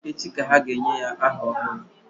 Echi ka ha ga-enye ya aha ọhụrụ